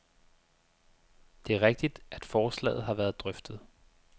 Det er rigtigt, at forslaget har været drøftet.